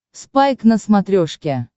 спайк на смотрешке